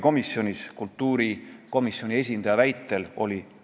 Kõigepealt ma ütlen ära, et ma ei kõnele fraktsiooni nimel, kuna me ei jõudnud ühisele seisukohale.